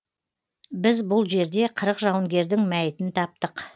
біз бұл жерде қырық жауынгердің мәйітін таптық